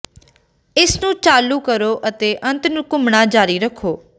ਇਸ ਨੂੰ ਚਾਲੂ ਕਰੋ ਅਤੇ ਅੰਤ ਨੂੰ ਘੁੰਮਣਾ ਜਾਰੀ ਰੱਖੋ